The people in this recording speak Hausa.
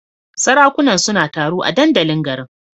Sarakunan suna taro a dandalin garin.